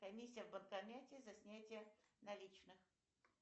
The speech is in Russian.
комиссия в банкомате за снятие наличных